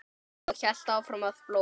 Og hélt áfram að blóta.